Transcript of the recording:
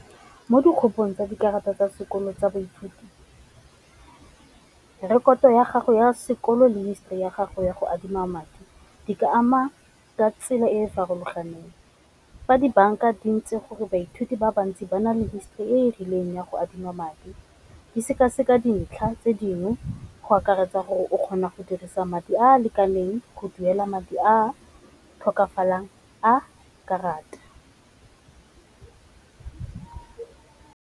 Mo tsa dikarata tsa sekolo tsa boithuti rekoto ya gago ya sekolo le history ya gago ya go adima madi di ka ama ka tsela e e farologaneng, fa dibanka di ntse gore baithuti ba bantsi ba na le histori e e rileng ya go adima madi di seka-seka dintlha tse dingwe go akaretsa gore o kgona go dirisa madi a a lekaneng go duela madi a tlhokafalang a karata.